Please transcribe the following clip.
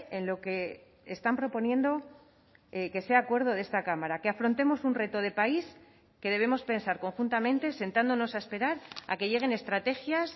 en lo que están proponiendo que sea acuerdo de esta cámara que afrontemos un reto de país que debemos pensar conjuntamente sentándonos a esperar a que lleguen estrategias